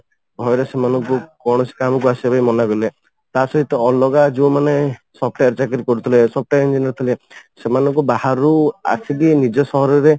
ଭୟରେ ସେମାନଙ୍କୁ କୌଣସି କାମକୁ ଆସିବା ପାଇଁ ମନା କଲେ ତା ସହିତ ଅଲଗା ଯୋଉ ମାନେ ସରକାରୀ ଚାକିରୀ କରୁଥିଲେ software engineer ଥିଲେ ସେମାନଙ୍କୁ ବାହାରୁ ଆସିକି ନିଜ ସହରରେ